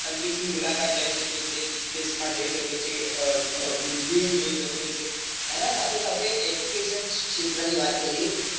અંતરીક્ષ ની મુલાકાત લઈ શકે છે, space માં જઈ શકે છે, પૃથ્વી ને જોઈ શકે છે એના સાથે સાથે education ક્ષેત્ર ની વાત કરીએ